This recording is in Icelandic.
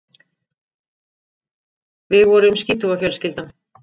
Við vorum skítuga fjölskyldan.